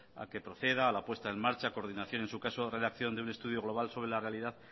a que proceda a la puesta en marcha coordinación en su caso redacción de un estudio global sobre la realidad